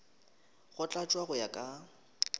go tlatšwa go ya ka